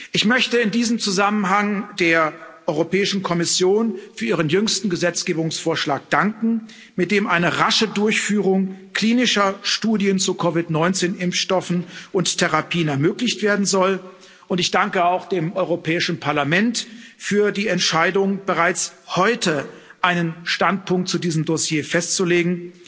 Ich möchte in diesem Zusammenhang der Europäischen Kommission für ihren jüngsten Gesetzgebungsvorschlag danken, mit dem eine rasche Durchführung klinischer Studien zu COVID 19 Impfstoffen und Therapien ermöglicht werden soll, und ich danke auch dem Europäischen Parlament für die Entscheidung, bereits heute einen Standpunkt zu diesem Dossier festzulegen.